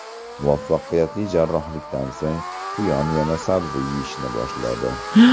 Muvaffaqiyatli jarrohlikdan so‘ng quyon yana sabzi yeyishni boshladi.